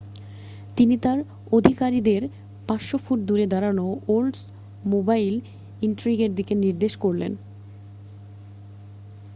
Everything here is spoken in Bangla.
তিনি তাঁর আধিকারিকদের 500 ফুট দূরে দাঁড়ানো ওল্ডসমোবাইল ইনট্রিগের দিকে নির্দেশ করলেন